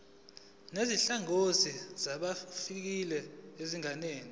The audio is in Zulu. nezinhlangano zabaqashi zingenza